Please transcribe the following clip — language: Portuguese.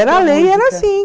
Era a lei, era assim.